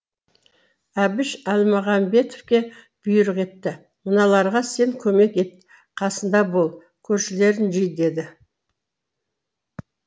әбіш әлмағамбетке бұйрық етті мыналарға сен көмек ет қасында бол көршілерін жи деді